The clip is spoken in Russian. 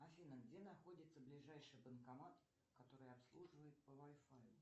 афина где находится ближаший банкомат который обслуживает по вай фаю